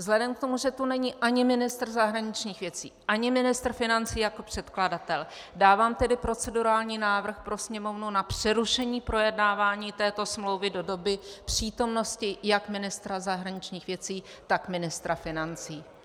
Vzhledem k tomu, že tu není ani ministr zahraničních věcí ani ministr financí jako předkladatel, dávám tedy procedurální návrh pro Sněmovnu na přerušení projednávání této smlouvy do doby přítomnosti jak ministra zahraničních věcí, tak ministra financí.